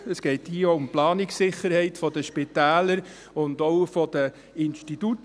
Es geht hier auch um die Planungssicherheit der Spitäler und der beteiligten Institute.